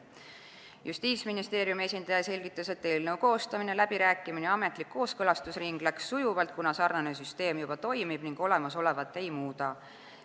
Justiitsministeeriumi esindaja selgitas, et eelnõu koostamine, läbirääkimine ja ametlik kooskõlastusring läksid sujuvalt, kuna sarnane süsteem juba toimib ning olemasolevat ei muudeta.